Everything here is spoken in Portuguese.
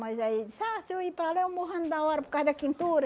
Mas aí ele disse, ah, se eu ir para lá, eu morro antes da hora por causa da quentura.